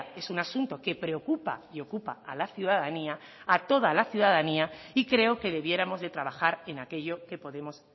es un asunto que preocupa y ocupa a la ciudadanía a toda la ciudadanía y creo que debiéramos de trabajar en aquello que podemos